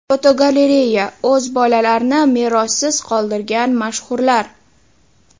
Fotogalereya: O‘z bolalarini merossiz qoldirgan mashhurlar.